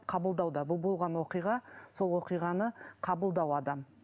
қабылдауда бұл болған оқиға сол оқиғаны қабылдау адам